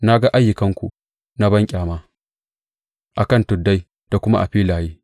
Na ga ayyukanku na banƙyama a kan tuddai da kuma a filaye.